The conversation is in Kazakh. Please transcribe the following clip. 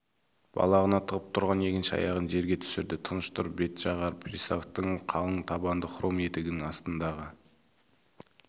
балағына тығып тұрған екінші аяғын жерге түсірді тыныш тұр бәтшағар приставтың қалың табанды хром етігінің астындағы